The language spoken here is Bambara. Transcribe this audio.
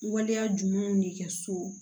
Waleya jumɛnw de kɛ so